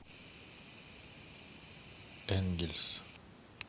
энгельс